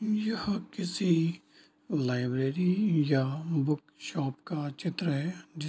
यह किसी लाइब्रेरी या बुक शॉप का चित्र है जी --